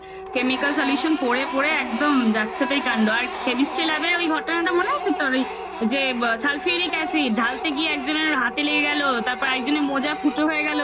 chemical solution পরে পরে একদম যাচ্ছে তাই কান্ড আর chemistry lab এর ওই ঘটনাটা মনে আছে তোর ওই যে sulfuric acid ঢালতে গিয়ে একজনের হাতে লেগে গেল তারপর একজনের মোজা ফুটো হয়ে গেলো?